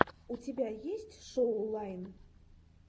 у тебя есть шоу лайн